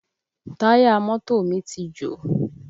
Táyà mọ́tò mi ti jò